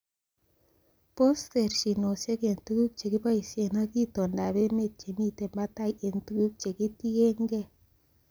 Bos terchinosiek en tuguk chekiboishen ak itondab emet chemiten batai en tuguk chekitienge.